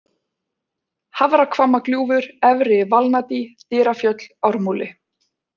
Hafrahvammagljúfur, Efri-Valnadý, Dyrafjöll, Ármúli